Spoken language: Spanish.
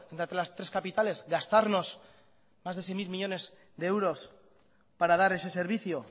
entre las tres capitales gastarnos más de seis mil millónes de euros para dar ese servicio